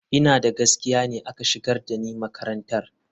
Ina da gaskiya ne aka shigar da ni makarantar.